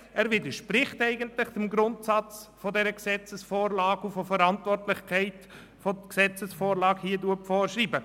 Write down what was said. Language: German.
Der Antrag widerspricht eigentlich dem Grundsatz dieser Gesetzesvorlage und der Verantwortlichkeit, die die Gesetzesvorlage vorschreibt.